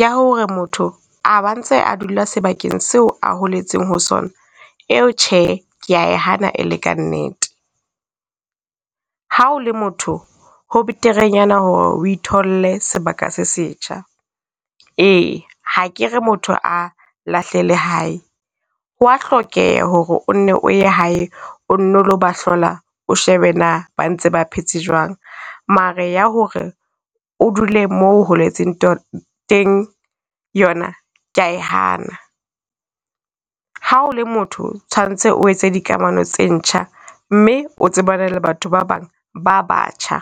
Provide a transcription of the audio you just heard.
ya hore motho a ba ntse a dula sebakeng seo a holetseng ho sona, eo tjhe, ke ya e hana e le ka nnete. Ha o le motho, ho beterenyana hore o itholle sebaka se setjha. Ee, ha ke re motho a lahle lehae, ho wa hlokeha hore o nne o ye hae o nno lo ba hlola, o shebe na ba ntse ba phetse jwang? Mare ya ho re o dule mo o holetseng teng yona, ke ya e hana. Ha o le motho tshwantse o etsa dikamano tse ntjha, mme o tsebane le batho ba bang ba batjha.